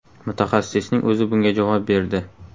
Mutaxassisning o‘zi bunga javob berdi.